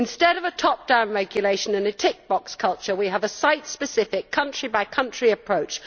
Instead of a top down regulation and a tick box culture, we have a site specific, country by country approach.